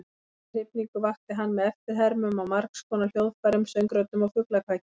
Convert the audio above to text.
Mesta hrifningu vakti hann með eftirhermum á margskonar hljóðfærum, söngröddum og fuglakvaki.